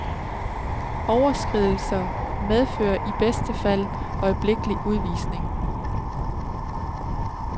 Overskridelser medfører i bedste fald øjeblikkelig udvisning.